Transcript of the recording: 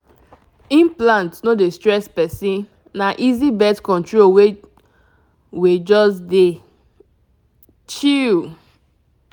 implant no dey stress person — na easy birth control way wey just dey chill.